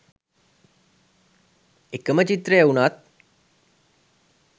එක ම චිත්‍රය වුණත්